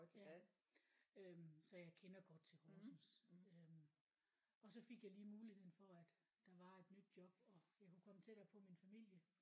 Ja øh så jeg kender godt til Horsens øh og så fik jeg lige muligheden for at der var et nyt job og jeg kunne komme tættere på min familie